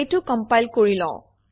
এইটো কমপাইল কৰি লওঁ